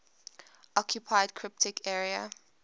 occupied cypriot area